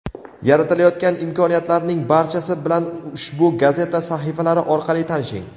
yaratilayotgan imkoniyatlarning barchasi bilan ushbu gazeta sahifalari orqali tanishing.